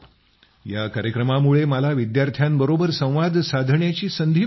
या कार्यक्रमामुळे मला विद्यार्थ्यांबरोबर संवाद साधण्याची संधी मिळते